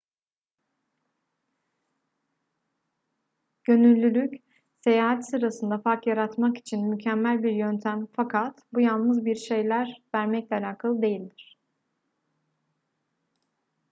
gönüllülük seyahat sırasında fark yaratmak için mükemmel bir yöntem fakat bu yalnız bir şeyler vermekle alakalı değildir